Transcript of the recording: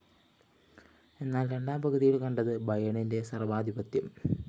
എന്നാല്‍ രണ്ടാം പകുതിയില്‍ കണ്ടത് ബയേണിന്റെ സര്‍വാധിപത്യം